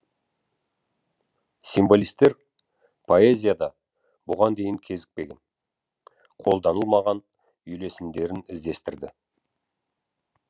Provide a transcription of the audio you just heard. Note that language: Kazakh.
символистер поэзияда бұған дейін кезікпеген қолданылмаған үйлесімдерін іздестірді